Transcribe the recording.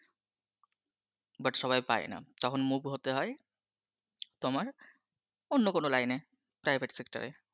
"but সবাই পায় না। তখন move হতে হয়। তোমার অন্য কোন্ lineprivate sector